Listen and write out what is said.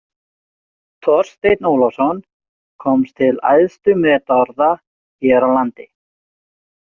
Þorsteinn Ólafsson komst til æðstu metorða hér á landi.